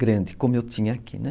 grande, como eu tinha aqui, né?